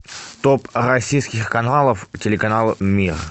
топ российских каналов телеканал мир